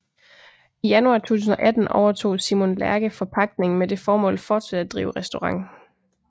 I januar 2018 overtog Simon Lerche forpagtningen med det formål fortsat at drive restaurant